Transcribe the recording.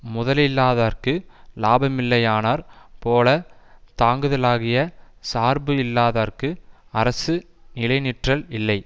முதலில்லாதார்க்கு இலாபமில்லையானாற் போல தாங்குதலாகிய சார்பு இல்லாதர்க்கு அரசு நிலைநிற்றல் இல்லை